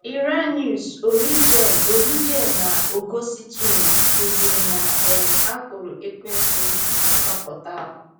Irenaeus, Origen, Origen, na Ọgọstinu kụziri na um a kwụrụ Ekwensu ihe mgbapụta ahụ.